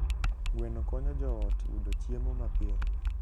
Gweno konyo joot yudo chiemo mapiyo.